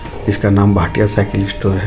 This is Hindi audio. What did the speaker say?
इसका नाम भाटिया साइकिल स्टोर है.